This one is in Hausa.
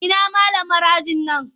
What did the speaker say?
Ina malamar ajin nan?